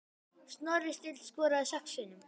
Snorri Steinn skoraði sex sinnum.